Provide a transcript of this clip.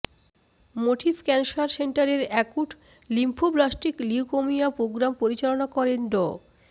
motif cancer সেন্টারের acute lymphoblastic leukaemia programme পরিচালনা করেন ড